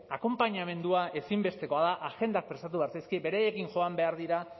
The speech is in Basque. akonpainamendua ezinbestekoa da agendak prestatu behar zaizkie beraiekin joan behar dira